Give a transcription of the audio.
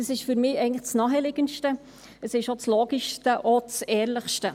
Dies ist für mich eigentlich das Naheliegendste, auch das Logischste und das Ehrlichste.